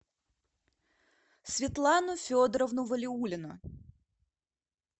светлану федоровну валиуллину